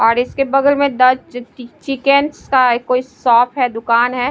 और इसके बगल में द चिकि चिकन का एक कोई शॉप है दुकान है।